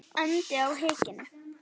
andi á hikinu.